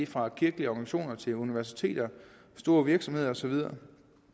fra kirkelige organisationer til universiteter store virksomheder og så videre